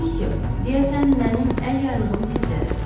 Müsyö, deyəsən mənim əl yaylığım sizdədir.